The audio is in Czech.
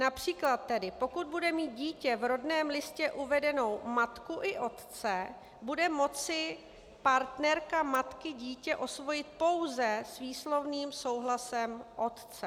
Například tedy pokud bude mít dítě v rodném listě uvedenou matku i otce, bude moci partnerka matky dítě osvojit pouze s výslovným souhlasem otce.